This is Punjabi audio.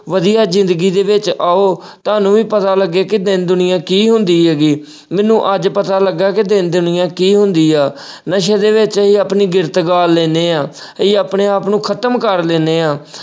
ਵਧੀਆ ਜ਼ਿੰਦਗੀ ਦੇ ਵਿੱਚ ਆਓ, ਤੁਹਾਨੂੰ ਵੀ ਪਤਾ ਲੱਗੇ ਕਿ ਦੀਨ ਦੁਨੀਆਂ ਕੀ ਹੁੰਦੀ ਹੈਗੀ, ਮੈਨੂੰ ਅੱਜ ਪਤਾ ਲੱਗਾ ਕਿ ਦੀਨ ਦੁਨੀਆ ਕੀ ਹੁੰਦੀ ਆ। ਨਸ਼ੇ ਦੇ ਵਿੱਚ ਅਸੀਂ ਆਪਣੀ ਗੈਰਤ ਗਾਲ ਲੈਨੇ ਆ, ਅਸੀਂ ਆਪਣੇ ਆਪ ਨੂੰ ਖ਼ਤਮ ਕਰ ਦਿੰਨੇ ਆ।